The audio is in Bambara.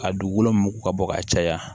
A dugukolo min mugu ka bɔ ka caya